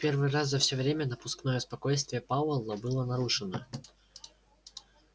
в первый раз за всё время напускное спокойствие пауэлла было нарушено